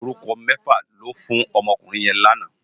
Órúkò mèfá lò fú n òmò òkúrin yèn làná